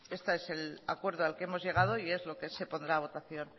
este es el acuerdo al que hemos llegado y es lo que se pondrá a votación